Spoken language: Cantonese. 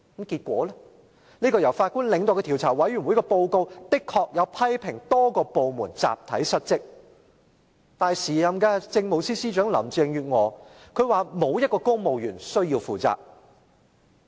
結果，由法官領導的獨立調查委員會的報告批評多個部門集體失職，但時任政務司司長林鄭月娥表示沒有一個公務員需要負責。